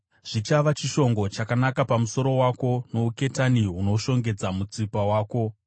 Zvichava chishongo chakanaka pamusoro wako nouketani hunoshongedza mutsipa wako.